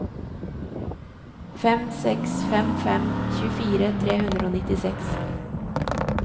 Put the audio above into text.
fem seks fem fem tjuefire tre hundre og nittiseks